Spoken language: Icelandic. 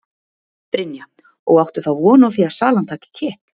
Brynja: Og áttu þá von á því að salan taki kipp?